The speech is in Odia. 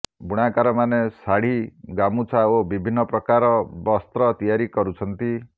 ବୁଣାକାରମାନେ ଶାଢି ଗାମୁଛା ଓ ବିଭିନ୍ନ ପ୍ରକାର ବସ୍ତ୍ର ତିଆରି କରୁଛନ୍ତି